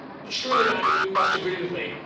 Surely, Madam, you must agree with me?